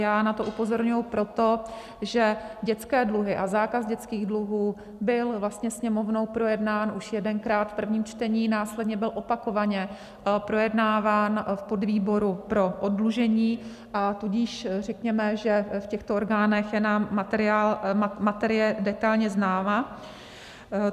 Já na to upozorňuji proto, že dětské dluhy a zákaz dětských dluhů byl vlastně Sněmovnou projednán už jedenkrát v prvním čtení, následně byl opakovaně projednáván v podvýboru pro oddlužení, a tudíž řekněme, že v těchto orgánech je nám materie detailně známa.